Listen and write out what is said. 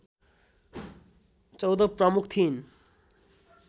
१४ प्रमुख थिइन्